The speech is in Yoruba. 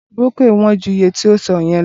Brónkíò wón ju iye tí ò ń sọ yẹn lọ